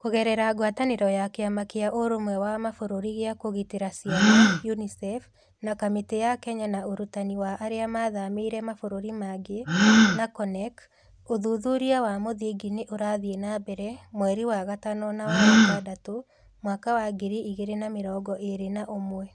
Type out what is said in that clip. Kũgerera ngwatanĩro ya Kĩama kĩa Ũrũmwe wa Mabũrũri gĩa Kũgitĩra Ciana (UNICEF) na Kamĩtĩ ya Kenya ya Ũrutani wa Arĩa Mathamĩire Mabũrũri mangĩ (NACONEK), ũthuthuria wa mũthingi nĩ ũrathiĩ na mbere (mwei wa gatano na wa gatandatũ mwaka wa ngiri igĩrĩ na mĩrongo ĩĩrĩ na ũmwe).